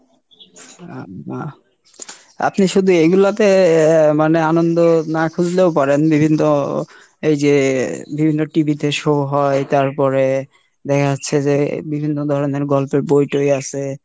আল্লাহ, আপনি শুধু এইগুলাতে মানে আনন্দ না খুঁজলেও পারেন, বিভিন্ন এইযে বিভিন্ন TV তে show হয়, তারপরে দেখা যাচ্ছে যে বিভিন্ন ধরণের গল্পের বই টই আছে।